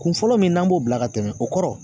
Kun fɔlɔ min n'an b'o bila ka tɛmɛ o kɔrɔ